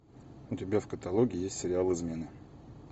у тебя в каталоге есть сериал измены